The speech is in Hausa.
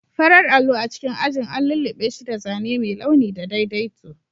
Farar allo a cikin ajin an lullube shi da zane mai launi da daidaito.